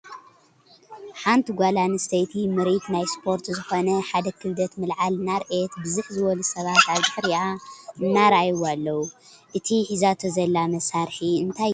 ሓንቲ ጋል አንሰተይቲ ምርኢት ናይ ሰፖርት ዘኮነ ሓደ ክብደት ምልዓል እናርኣየት ብዝሕ ዝበሉ ሰባት ኣብ ድሕሪኣ እናረኣይዋ ኣለዉ ። እቲ ሒዛቶ ዘላ መሳርሒ እንታይ ይበሃል ?